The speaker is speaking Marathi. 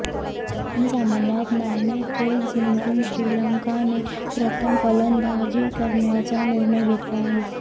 या सामन्यात नाणेफेक जिंकून श्रीलंका ने प्रथम फलंदाजी करण्याचा निर्णय घेतला आहे